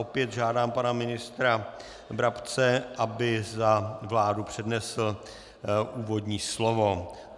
Opět žádám pana ministra Brabce, aby za vládu přednesl úvodní slovo.